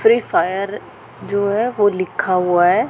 Free fire जो है वो लिखा हुआ है।